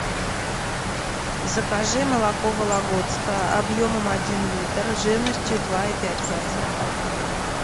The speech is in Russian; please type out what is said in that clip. закажи молоко вологодское объемом один литр жирностью два и пять процентов